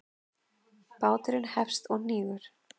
Báturinn hefst og hnígur.